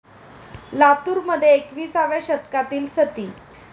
लातूरमध्ये एकवीसाव्या शतकातील सती!